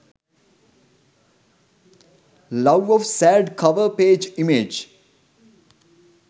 love of sad cover page image